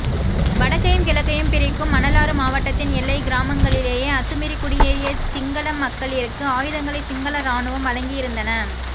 வடக்கையும் கிழக்கையும் பிரிக்கும் மணலாறு மாவட்டத்தின் எல்லைக்கிராமங்களிலேயே அத்துமீறி குடியேறிய சிங்களமக்களிற்கு ஆயுதங்களை சிங்கள இராணுவம் வழங்கியிருந்தன